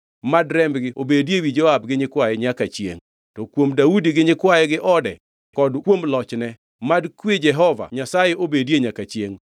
Mad rembgi obedi ewi Joab gi nyikwaye nyaka chiengʼ. To kuom Daudi gi nyikwaye gi ode kod kuom lochne, mad kwe Jehova Nyasaye obedie nyaka chiengʼ.”